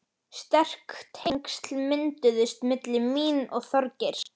Sterk tengsl mynduðust milli mín og Þorgeirs.